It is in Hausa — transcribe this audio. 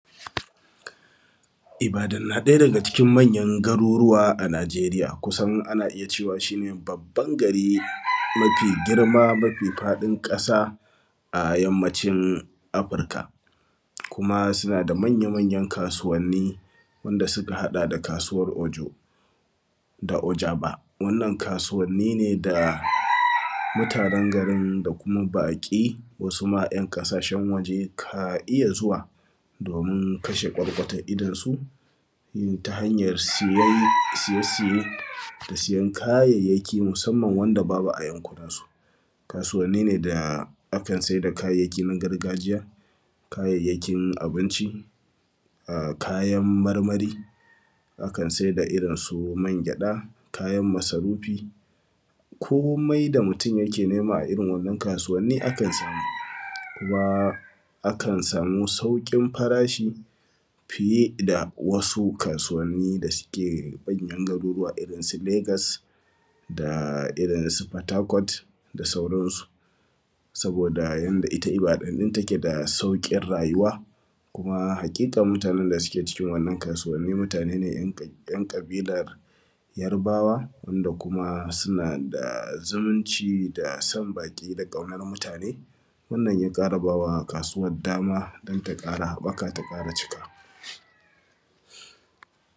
Ibadan na ɗaya daga cikin manyan garuruwa a nijeriya kusan ana iya cewa shi ne babba gari mafi girma mafi faɗin ƙasa a yammacin afrika, kuma suna da manya manyan kasuwani wanda suka haɗa da kasuwan ojo da ojama wannan kasuwani ne da mutanen garin kuma baƙi wasu ma ‘yan ƙasashen waje ka iya zuwa domin kashe kwarkwatan idon su ta hanyan siye siye da siyan kayayyaki musamman wanda babu a yankunan su. Kasuwani ne da akan siyar da kayayyakin gargajiya da kayayyakin abinci a kayan marmari akan siyar da irin mangwaɗa kayan masarufi komai da mutum yake nema a irin wannan kasuwa akan samu kuma akan samu saukin farashi fiye da wasu kasuwani dake manyan garuru irin su legas da fatakwal da sauransu, saboda yadda ita ibadan din take da saukin rayuwa kuma haƙiƙa mutanen da suke cikin wannan kasuwa mutane ne ‘yan ƙabilan yarbawa wanda kuma suna da zumunci da son baƙi da kaunar mutane, wannan ya ƙara bawa kasuwan dama don ta ƙara haɓaka ta ƙara cika.